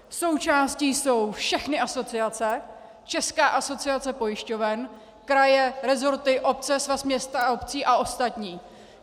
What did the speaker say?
Součástí jsou všechny asociace, Česká asociace pojišťoven, kraje, resorty, obce, Svaz měst a obcí a ostatní.